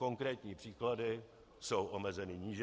Konkrétní případy jsou omezeny níže.